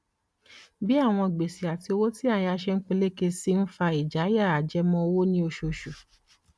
bí àwọn gbèsè àti owó tí a yá ṣe ń peléke sí i ń fa ìjayà ajẹmọ owó ní oṣooṣù